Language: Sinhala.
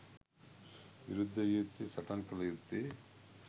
විරුද්ධ විය යුත්තේ, සටන් කළ යුත්තේ